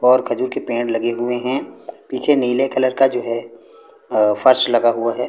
और खजूर के पेड़ लगे हुएं हैं पीछे नीले कलर का जो है अं फर्श लगा हुआ हैं।